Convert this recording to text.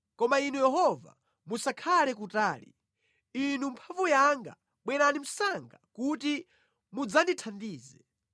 Koma Inu Yehova, musakhale kutali; Inu mphamvu yanga, bwerani msanga kuti mudzandithandize.